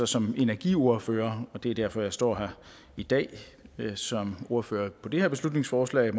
som energiordfører og det er derfor jeg står her i dag som ordfører på det her beslutningsforslag